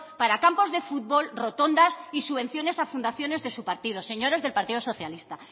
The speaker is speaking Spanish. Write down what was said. para campos de fútbol rotondas y subvenciones a fundaciones de su partido señores del partido socialista